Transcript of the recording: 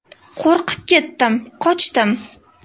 Qo‘rqib ketib qochdim.